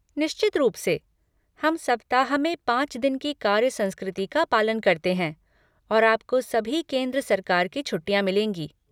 निश्चित रूप से, हम सप्ताह में पाँच दिन की कार्य संस्कृति का पालन करते हैं और आपको सभी केंद्र सरकार की छुट्टियाँ मिलेंगी।